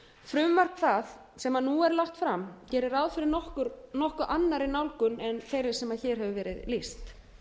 frumvarp það sem nú er lagt fram gerir rá fyrir nokkuð annarri nálgun en þeirri sem hér hefur verið lýst